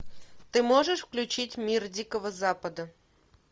ты можешь включить мир дикого запада